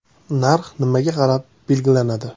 Narx nimaga qarab belgilanadi?